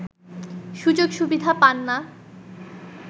সুযোগ-সুবিধা পান না